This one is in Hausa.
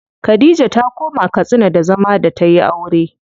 Khadija ta koma Katsina da zama da tayi aure.